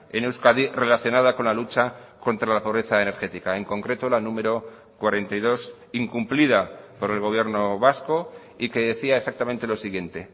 en euskadi relacionada con la lucha contra la pobreza energética en concreto la número cuarenta y dos incumplida por el gobierno vasco y que decía exactamente lo siguiente